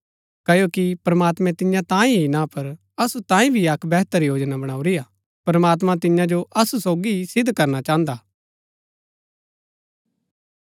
क्ओकि प्रमात्मैं तिन्या तांये ही ना पर असु तांये भी अक्क वेहतर योजना बणाऊरी हा प्रमात्मां तिन्या जो असु सोगी ही सिद्ध करना चाहन्दा हा